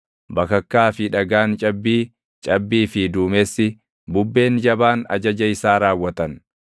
bakakkaa fi dhagaan cabbii, cabbii fi duumessi, bubbeen jabaan ajaja isaa raawwatan,